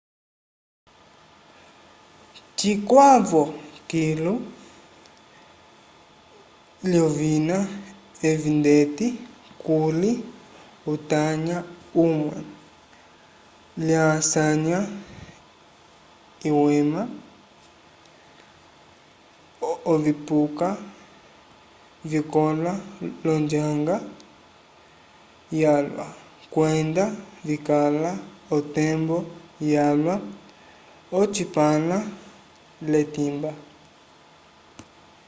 cikwavo kilu lyovina evi ndeti kuli utanya umwe lyasanya iwema ovipuka vikõla l'onjanga yalwa kwenda vikala otembo yalwa ocipãla l'etimba